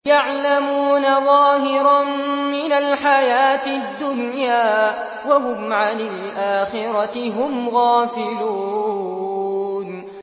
يَعْلَمُونَ ظَاهِرًا مِّنَ الْحَيَاةِ الدُّنْيَا وَهُمْ عَنِ الْآخِرَةِ هُمْ غَافِلُونَ